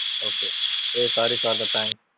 okay hey sorry for the prank